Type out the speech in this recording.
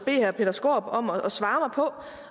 herre peter skaarup om at svare mig på